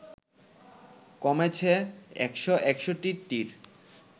কমেছে ১৬১টির